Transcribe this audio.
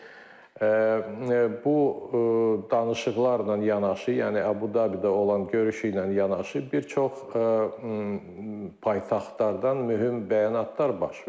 Çünki bu danışıqlarla yanaşı, yəni Əbu-Dabidə olan görüşü ilə yanaşı, bir çox paytaxtlardan mühüm bəyanatlar baş vermişdir.